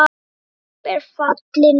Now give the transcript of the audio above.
EN DRAMB ER FALLI NÆST!